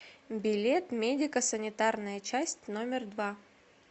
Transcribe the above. билет медико санитарная часть номер два